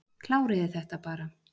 Kláriði þetta bara.